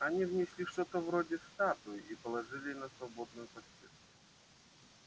они внесли что-то вроде статуи и положили на свободную постель